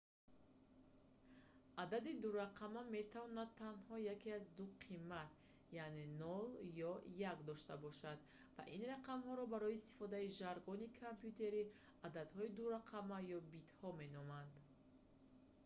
адади дурақама метавонад танҳо яке аз ду қимат яъне 0 ё 1 дошта бошад ва ин рақамҳоро барои истифодаи жаргони компютерӣ ададҳои дурақама ё битҳо меноманд